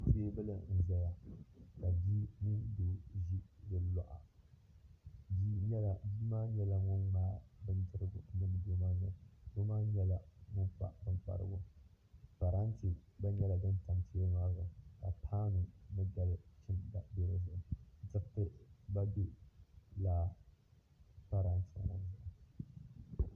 Teebuli n-zaya ka bia mini doo ʒi di luɣa ni bia maa nyɛla ŋun ŋmaai bindirigu niŋ doo maa noli ni doo maa nyɛla ŋun pa bimparigu parante gba nyɛla din tam teebuli maa zuɣu ka paanu ni gal' chimda be di ni diriti gba be lala parante maa ni